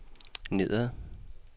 nedad